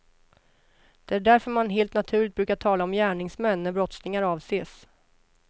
Det är därför man helt naturligt brukar tala om gärningsmän när brottslingar avses.